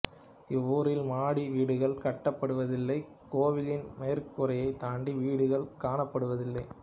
இவ்வூரில் மாடி வீடுகள் கட்டப்படுவதில்லை கோவிலின் மேற்கூரையைத் தாண்டி வீடுகள் கட்டப்படுவதில்லை